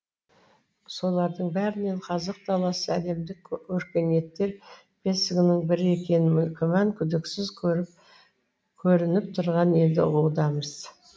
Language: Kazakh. солардың бәрінен қазық даласы әлемдік өркениеттер бесігінің бірі екенін күмән күдіксіз көрініп тұрғанын енді ұғудамыз